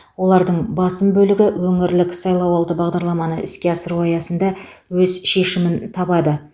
олардың басым бөлігі өңірлік сайлауалды бағдарламаны іске асыру аясында өз шешімін табады